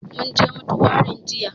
Mun je mutuwarin jiya